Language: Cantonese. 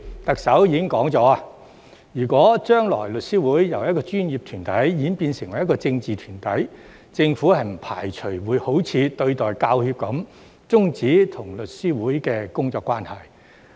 特首已說了，如果將來律師會由一個專業團體演變成一個政治團體，政府不排除會像對待香港教育專業人員協會般，終止與律師會的工作關係。